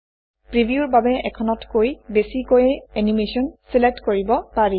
প্ৰিভিউৰ বাবে এখনতকৈ বেছিকৈয়ো এনিমেচন চিলেক্ট কৰিব পাৰি